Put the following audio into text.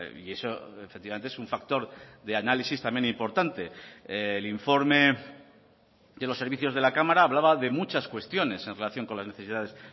y eso efectivamente es un factor de análisis también importante el informe de los servicios de la cámara hablaba de muchas cuestiones en relación con las necesidades